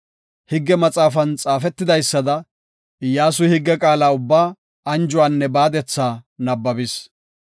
Higge maxaafan xaafetidaysada, Iyyasuy higge qaala ubbaa, anjuwanne baadetha nabbabis.